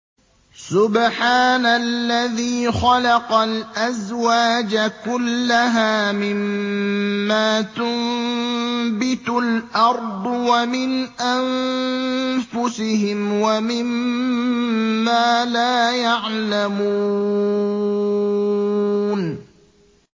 سُبْحَانَ الَّذِي خَلَقَ الْأَزْوَاجَ كُلَّهَا مِمَّا تُنبِتُ الْأَرْضُ وَمِنْ أَنفُسِهِمْ وَمِمَّا لَا يَعْلَمُونَ